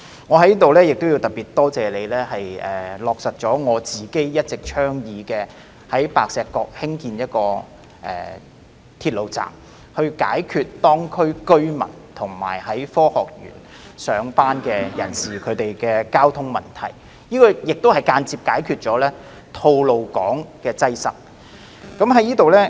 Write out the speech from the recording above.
我在此特別多謝你落實了我一直以來的倡議，即在白石角興建鐵路站，以解決當區居民和在科學園上班人士的交通問題，這亦間接解決了吐露港擠塞問題。